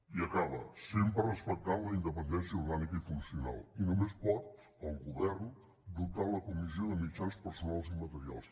i acaba sempre respectant la independència orgànica i funcio nal i només pot el govern dotar la comissió de mitjans personals i materials